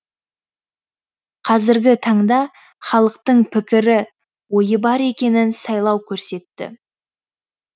қазіргі таңда халықтың пікірі ойы бар екенін сайлау көрсетті